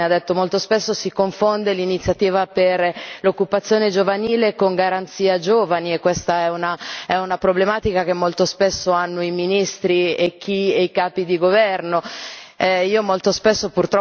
ha fatto una precisazione ha detto che molto spesso si confonde l'iniziativa per l'occupazione giovanile con la garanzia per giovani, e questa è una problematica che molto spesso hanno i ministri e i capi di governo.